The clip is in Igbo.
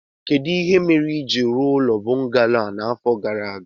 Kedụ ihe mere i jiri rụọ ụlọ bọngalo a n'afọ gara aga